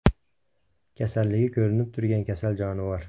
Kasalligi ko‘rinib turgan kasal jonivor.